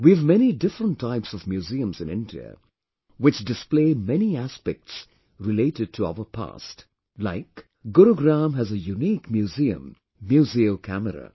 We have many different types of museums in India, which display many aspects related to our past, like, Gurugram has a unique museum Museo Camera